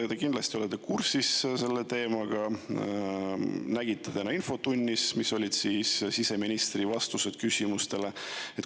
Te kindlasti olete kursis selle teemaga ja täna infotunnis, mis olid siseministri vastused küsimustele.